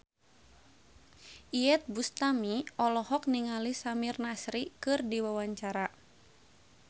Iyeth Bustami olohok ningali Samir Nasri keur diwawancara